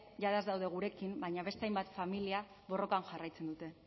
jada ez daude gurekin baina beste hainbat familia borrokan jarraitzen dute